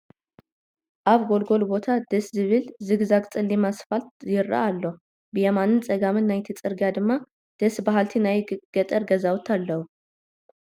አብ ጎልጎል ቦታ ደስ ዝብል ዝግዛግ ፀሊም አስፋልት ይረአ አሎ፡፡ ብየማንን ፀጋምን ናይቲ ፅርግያ ድማ ደስ በሃልቲ ናይ ገጠር ገዛውቲ አለዉ፡፡